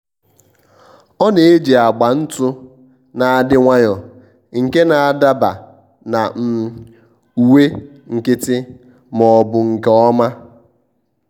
ọ́ nà-ejì agba ntụ́ nà-adị́ nwayọ́ọ́ nke nà-ádaba na um uwe nkịtị ma ọ́ bụ nke ọma.